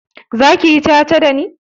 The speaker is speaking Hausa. Zaka yi ca-ca dani?